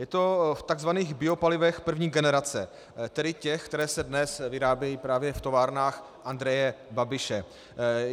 Je to v tzv. biopalivech první generace, tedy těch, která se dnes vyrábějí právě v továrnách Andreje Babiše.